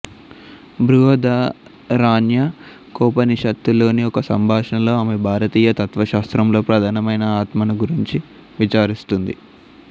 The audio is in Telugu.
బృహదారణ్యకోపనిషత్తు లోని ఒక సంభాషణలో ఆమె భారతీయ తత్వశాస్త్రంలో ప్రధానమైన ఆత్మను గురించి విచారిస్తుంది